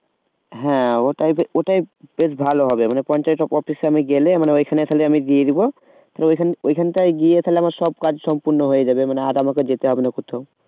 হ্যাঁ ওটাই যে ওটাই বেশ ভালো হবে মানে পঞ্চায়েত office এ আমি গেলে মানে ওইখানে খালি আমি দিয়ে দেব তো ওইখান ওইখানটায় গিয়ে তালে আমার সব কাজ সম্পূর্ণ হয়ে যাবে মানে আর আমাকে যেতে হবে না কোথাও